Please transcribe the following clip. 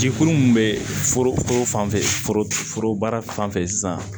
Jikuru min bɛ foro fan fɛ foro baara fan fɛ sisan